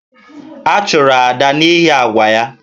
A chụrụ Ada n’ihi àgwà ya